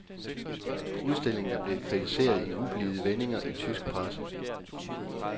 Udstillingen er blevet kritiseret i ublide vendinger i tysk presse.